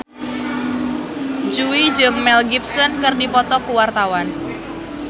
Jui jeung Mel Gibson keur dipoto ku wartawan